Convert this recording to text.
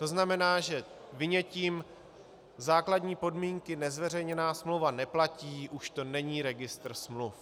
To znamená, že vynětím základní podmínky nezveřejněná smlouva neplatí, už to není registr smluv.